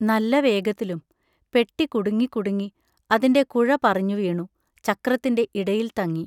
നല്ല വേഗത്തിലും പെട്ടി കുടുങ്ങിക്കുടുങ്ങി, അതിന്റെ കുഴ പറിഞ്ഞു വീണു ചക്രത്തിന്റെ ഇടയിൽ തങ്ങി!